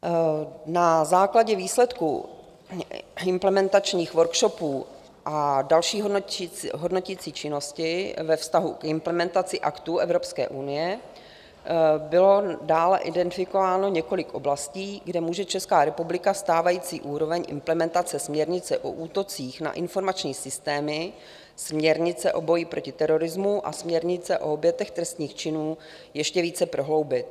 Na základě výsledků implementačních workshopů a další hodnoticí činnosti ve vztahu k implementaci aktů Evropské unie bylo dále identifikováno několik oblastí, kde může Česká republika stávající úroveň implementace směrnice o útocích na informační systémy, směrnice o boji proti terorismu a směrnice o obětech trestných činů ještě více prohloubit.